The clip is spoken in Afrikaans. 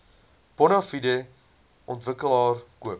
bonafide ontwikkelaar koop